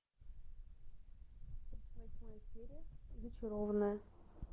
восьмая серия зачарованная